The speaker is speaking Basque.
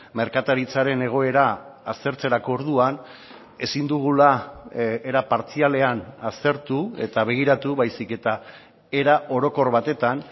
merkataritzaren egoera aztertzerako orduan ezin dugula era partzialean aztertu eta begiratu baizik eta era orokor batetan